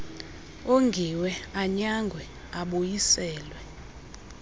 ongiwe anyangwe abuyiselwe